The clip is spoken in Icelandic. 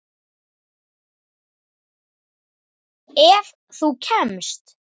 Ef þú kemst?